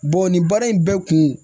nin baara in bɛɛ kun